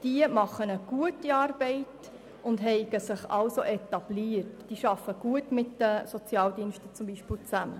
Diese würden eine gute Arbeit leisten, hätten sich etabliert und arbeiteten beispielsweise gut mit den Sozialdiensten zusammen.